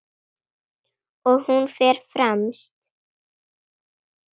Og hún fer fremst.